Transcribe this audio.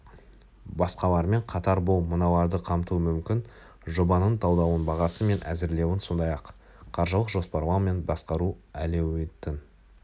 басқалармен қатар бұл мыналарды қамтуы мүмкін жобаның талдауын бағасы мен әзірлеуін сондай-ақ қаржылық жоспарлау мен басқару әлеуетін